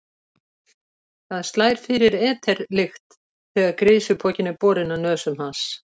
Það slær fyrir eter-lykt þegar grisjupokinn er borinn að nösum hans.